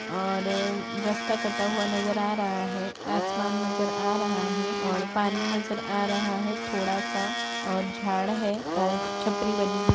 और रस्ता कटा हुआ नजर आ रहा है आसमान नजर आ रहा है और पानी नजर आ रहा है थोड़ा-सा और झाड़ है छपरी बनी हुई --